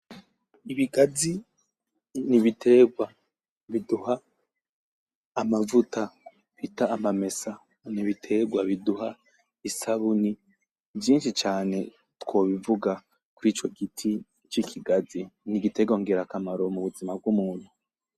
Ibigazi n'ibitegwa biduha amavuta bita amamesa, n'ibitegwa biduha isabuni, vyinshi cane twobivuga kwico giti c'ikigazi, n'igitegwa ngirakamaro ku buzima bw'umuntu.